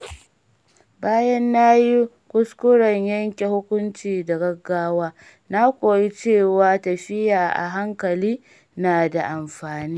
Bayan na yi kuskuren yanke hukunci da gaggawa, na koyi cewa tafiya a hankali na da amfani.